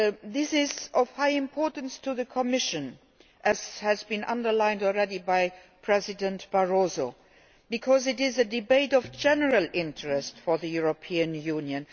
This is of great importance to the Commission, as has already been underlined by President Barroso, because it is a debate of general interest to the European Union.